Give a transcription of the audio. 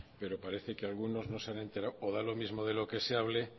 pero parece que algunos no se han enterado o da lo mismo de lo que se hable